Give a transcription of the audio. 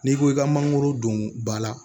N'i ko i ka mangoro don ba la